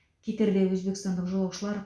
кетерде өзбекстандық жолаушылар